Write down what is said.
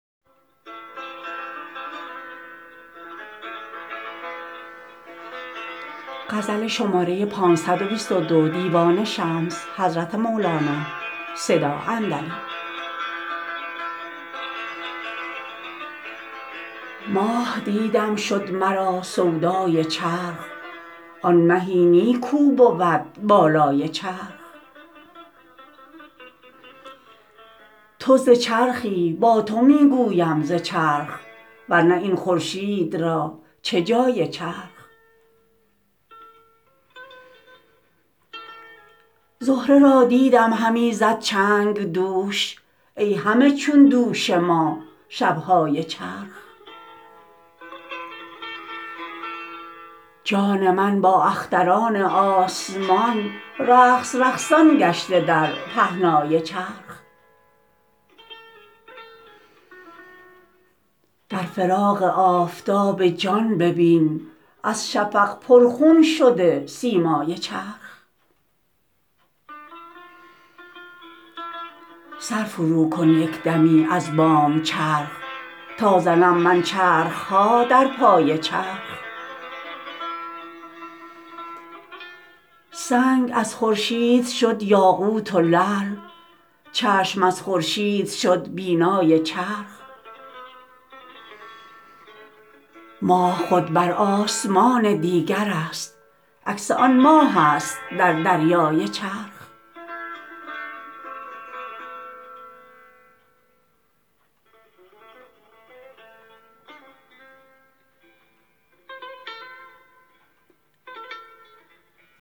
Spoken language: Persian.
ماه دیدم شد مرا سودای چرخ آن مهی نی کو بود بالای چرخ تو ز چرخی با تو می گویم ز چرخ ور نه این خورشید را چه جای چرخ زهره را دیدم همی زد چنگ دوش ای همه چون دوش ما شب های چرخ جان من با اختران آسمان رقص رقصان گشته در پهنای چرخ در فراق آفتاب جان ببین از شفق پرخون شده سیمای چرخ سر فروکن یک دمی از بام چرخ تا زنم من چرخ ها در پای چرخ سنگ از خورشید شد یاقوت و لعل چشم از خورشید شد بینای چرخ ماه خود بر آسمان دیگرست عکس آن ماهست در دریای چرخ